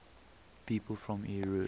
people from eure